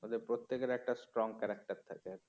ওদের প্রত্যেক এর একটা strong character থাকে